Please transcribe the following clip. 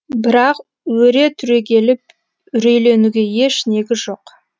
бірақ өре түрегеліп үрейленуге еш негіз жоқ